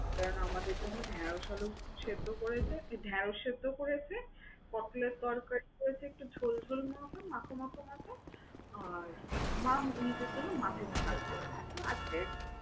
কারণ আমাদের জন্য ঢ্যাঁড়শ আলু সিদ্ধ করেছে, তো ঢ্যাঁড়শ সিদ্ধ করেছে, পটলের তরকারি আছে একটু ঝোল ঝোল মাখো মাখো মাখো আর মা নিজের জন্য মাছের ঝাল করেছে। তো আজকে